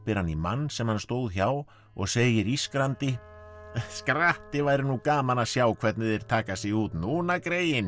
hann í mann sem hann stóð hjá og segir ískrandi skratti væri nú gaman að sjá hvernig þeir taka sig út núna greyin